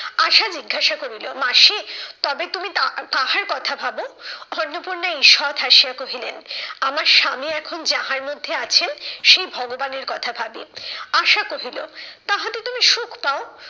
আশা জিজ্ঞাসা করিল, মাসি তবে তুমি তা কাহার কথা ভাবো? অন্নপূর্ণা ঈষৎ হাসিয়া কহিলেন, আমার স্বামী এখন যাহার মধ্যে আছেন, সেই ভগবানের কথা ভাবি। আশা কহিল, তাহাতে তুমি সুখ পাও?